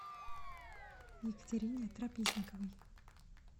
екатерине трапезниковой